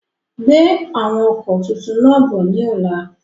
Gbe àwọn ọkọ tuntun náà bọ̀ ni ọ̀la!